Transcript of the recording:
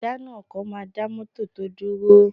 Ìjánu ọkọ̀ máa dá mọ́tọ̀ tò dúró